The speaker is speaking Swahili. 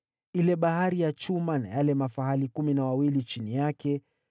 ile Bahari ya chuma na yale mafahali kumi na wawili chini yake;